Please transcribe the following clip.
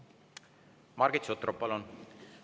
Margit Sutrop, palun!